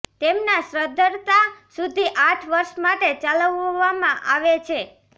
તેમના સદ્ધરતા સુધી આઠ વર્ષ માટે ચલાવવામાં આવે છે